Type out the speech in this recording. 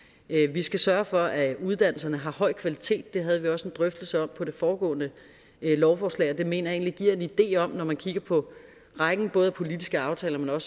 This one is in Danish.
vi skal sørge for at uddannelserne har høj kvalitet det havde vi også en drøftelse om på det foregående lovforslag og det mener jeg egentlig giver en idé om når man kigger på rækken af både politiske aftaler og